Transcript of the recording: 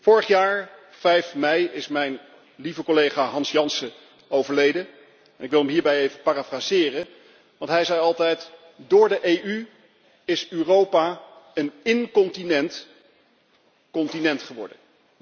Vorig jaar op 5 mei is mijn lieve collega Hans Jansen overleden en ik wil hem hierbij even citeren want hij zei altijd door de EU is Europa een incontinent continent geworden.